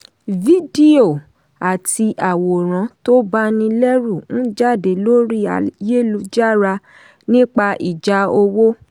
fídíò àti àwòrán tó banilẹ́rù n jáde lórí ayélujára nípa ìjà owó.